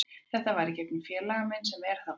Þetta var í gegnum félaga minn sem er þarna úti.